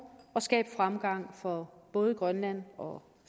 skabe fremgang for både grønland og